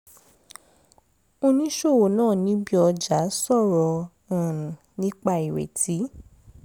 oníṣòwò náà níbi ọjà sọ̀rọ̀ um nípa irètí